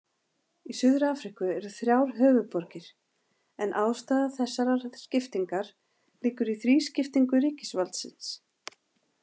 Í Suður-Afríku eru þrjár höfuðborgir en ástæða þessarar skiptingar liggur í þrískiptingu ríkisvaldsins.